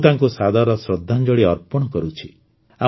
ମୁଁ ତାଙ୍କୁ ସାଦର ଶ୍ରଦ୍ଧାଞ୍ଜଳି ଅର୍ପଣ କରୁଛି